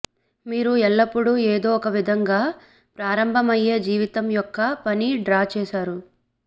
మీరు ఎల్లప్పుడూ ఏదో ఒక విధంగా ప్రారంభమయ్యే జీవితం యొక్క పని డ్రా చేశారు